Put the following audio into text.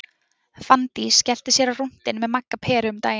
Fanndís skellti sér á rúntinn með Magga Peru um daginn.